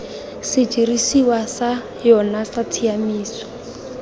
sedirisiwa sa yona sa tshiaimiso